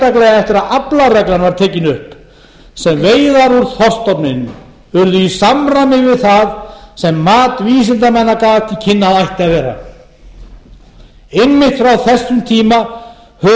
sérstaklega eftir að aflareglan var tekin upp sem veiðar úr þorskstofninum urðu í samræmi við það sem mat vísindamanna gaf til kynna að ætti að vera einmitt frá þessum tíma höfum við séð